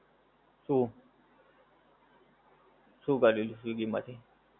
શું? શું કરેલું સ્વીગી માંથી?